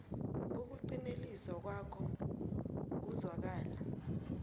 ukuqinteliswa kwawo kuzwakala